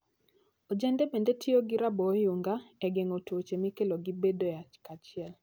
Ojende bende tiyo gi raboo oyunga e geng'o tuoche mikelo gi bedoe achiel.